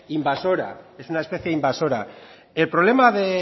invasora es una especie invasora el problema de